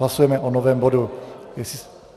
Hlasujeme o novém bodu.